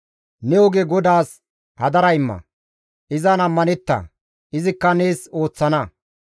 Ne oge GODAAS hadara imma; izan ammanetta; izikka nees ooththana.